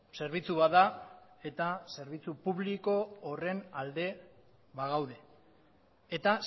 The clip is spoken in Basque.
zerbitzu bat da eta zerbitzu publiko horren alde bagaude eta